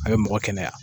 A bɛ mɔgɔ kɛnɛya